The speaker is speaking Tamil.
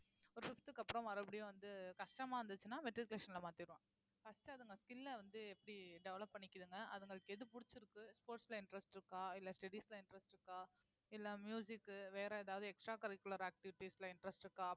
ஒரு fifth க்கு அப்புறம் மறுபடியும் வந்து கஷ்டமா இருந்துச்சுன்னா matriculation ல மாத்திரலாம் first அதுங்க skill அ வந்து எப்படி develop பண்ணிக்குதுங்க அதுங்களுக்கு எது பிடிச்சிருக்கு sports ல interest இருக்கா இல்ல studies ல interest இருக்கா இல்ல க்கு வேற எதாவது extra curricular activities ல interest இருக்கா